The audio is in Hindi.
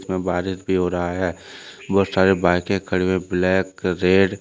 में बारिश भी हो रहा है बहुत सारे बाइकें खड़ी हुई ब्लैक रेड